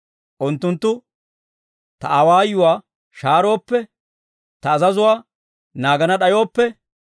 unttunttu ta awaayuwaa shaarooppe, ta azazuwaa naagana d'ayooppe,